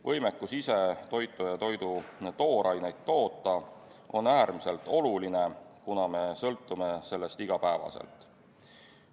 Võimekus ise toitu ja toidu tooraineid toota on äärmiselt oluline, kuna me sõltume sellest igapäevaselt.